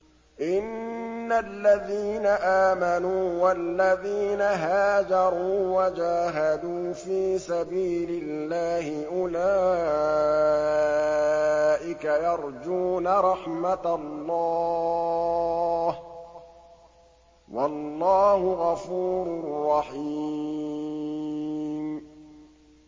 إِنَّ الَّذِينَ آمَنُوا وَالَّذِينَ هَاجَرُوا وَجَاهَدُوا فِي سَبِيلِ اللَّهِ أُولَٰئِكَ يَرْجُونَ رَحْمَتَ اللَّهِ ۚ وَاللَّهُ غَفُورٌ رَّحِيمٌ